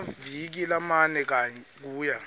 ngemaviki lamane kuya